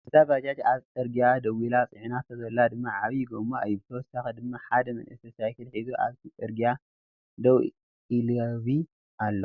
እዛ ባጃጅ አብ ፅርግያ ደውላ ፅዕናቶ ዘላ ድማ ዓብይ ጎማ እዮ ።ብተወሳኪ ድማ ሐደ መንእሰይ ሳይክል ሒዙ አብቲ ፅርግያ ደው ኢለቩ አሎ ።